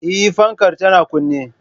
Eh, fankar tana kunne